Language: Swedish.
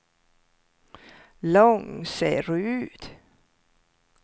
Långserud